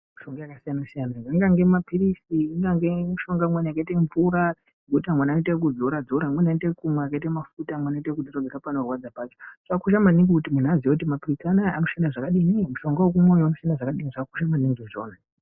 Mishonga yakasiyana siyana zvingange mapirizi zvingange mishonga imweni yakaita mvura yekuti amwe anoita ekudzora dzora amweni anoita ekumwa akaita ekumwa zvoita ekusiyana nepanorwadza pacho. Zvakakosha maningi kuti munhu aziye kuti mapirizi anoita ekudini mapirizi ekumwa anaya anoshanda zvakadini zvakakosha maningi izvozvo.